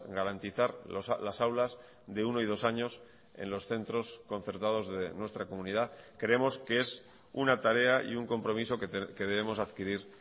garantizar las aulas de uno y dos años en los centros concertados de nuestra comunidad creemos que es una tarea y un compromiso que debemos adquirir